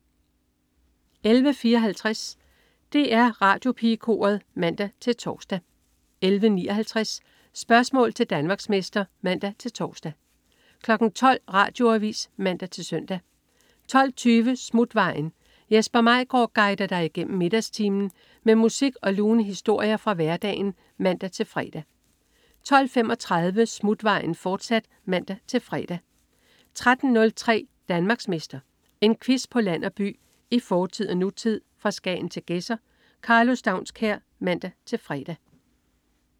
11.54 DR Radiopigekoret (man-tors) 11.59 Spørgsmål til Danmarksmester (man-tors) 12.00 Radioavis (man-søn) 12.20 Smutvejen. Jesper Maigaard guider dig igennem middagstimen med musik og lune historier fra hverdagen (man-fre) 12.35 Smutvejen, fortsat (man-fre) 13.03 Danmarksmester. En quiz på land og by, i fortid og nutid, fra Skagen til Gedser. Karlo Staunskær (man-fre)